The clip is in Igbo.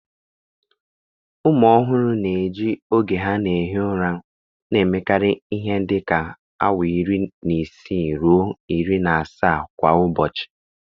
Ụmụ ọhụrụ na-eji oge ha na-ehi ụra, na-emekarị ihe dịka awa iri na isii ruo iri na asaa kwa ụbọchị